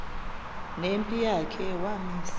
nempi yakhe wamisa